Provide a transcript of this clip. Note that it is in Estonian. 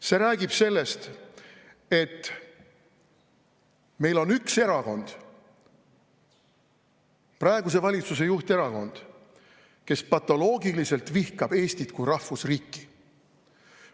See räägib sellest, et meil on üks erakond, praeguse valitsuse juhterakond, kes patoloogiliselt vihkab Eestit kui rahvusriiki.